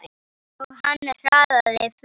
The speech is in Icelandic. Og hann hraðaði för.